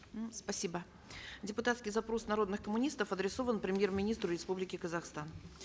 м спасибо депутатский запрос народных коммунистов адресован премьер министру республики казахстан